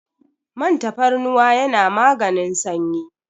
Man tafarnuwa yana maganin sanyi.